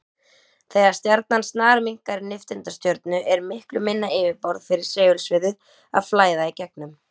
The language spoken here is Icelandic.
Þegar stjarnan snarminnkar í nifteindastjörnu er miklu minna yfirborð fyrir segulsviðið að flæða í gegnum.